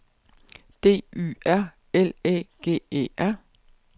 D Y R L Æ G E R